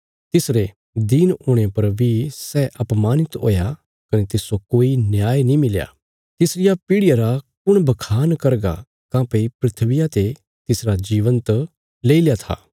तिसरे गरीब हुणे पर बी सै अपमानित हुया कने तिस्सो कोई न्याय नीं मिलया तिसरिया पीढ़िया रा कुण बखान करगा काँह्भई धरतिया ते तिसरा जीवन त लेईल्या था